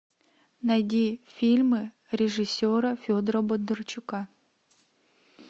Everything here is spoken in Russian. найди фильмы режиссера федора бондарчука